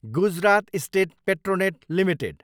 Gujarat state Petronet Ltd